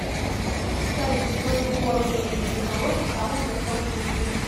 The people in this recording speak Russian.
салют какую форму имеет цветоложе в самом простом случае